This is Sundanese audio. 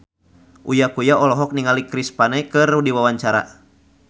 Uya Kuya olohok ningali Chris Pane keur diwawancara